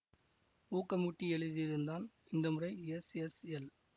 ஊக்கம் ஊட்டி எழுதியிருந்தான் இந்த முறை எஸ் எஸ் எல்